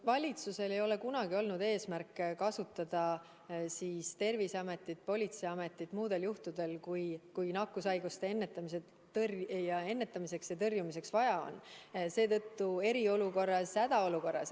Valitsusel ei ole kunagi olnud eesmärki kasutada Terviseametit ja politseiametit muudel juhtudel, kui nakkushaiguste ennetamiseks ja tõrjumiseks vaja on eriolukorras ja hädaolukorras.